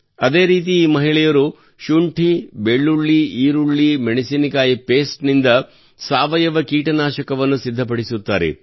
ಅದೇ ರೀತಿ ಈ ಮಹಿಳೆಯರು ಶುಂಠಿ ಬೆಳ್ಳುಳ್ಳಿ ಈರುಳ್ಳಿ ಮೆಣಸಿನಕಾಯಿ ಪೇಸ್ಟ್ ನಿಂದ ಸಾವಯವ ಕೀಟನಾಶಕವನ್ನು ಸಿದ್ಧಪಡಿಸುತ್ತಾರೆ